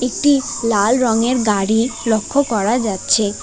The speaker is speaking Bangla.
টি একটি লাল রংয়ের গাড়ি লক্ষ্য করা যাচ্ছে।